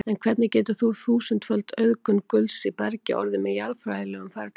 En hvernig getur þúsundföld auðgun gulls í bergi orðið með jarðfræðilegum ferlum?